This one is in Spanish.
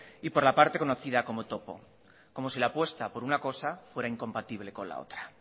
y por la parte conocida como topo como si la apuesta por una cosa fuera incompatible con la otra